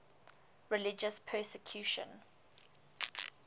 religious persecution